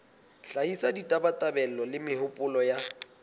hlahisa ditabatabelo le mehopolo ya